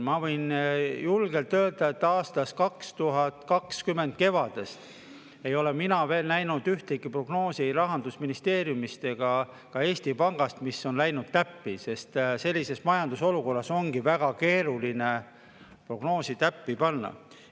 Ma võin julgelt öelda, et aasta 2020 kevadest ei ole mina veel näinud ühtegi prognoosi ei Rahandusministeeriumist ega ka Eesti Pangast, mis on läinud täppi, sest sellises majandusolukorras ongi väga keeruline prognoosi täppi panna.